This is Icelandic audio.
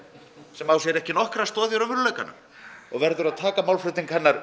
sem á sér ekki nokkra stoð í raunveruleikanum og verður að taka málflutning hennar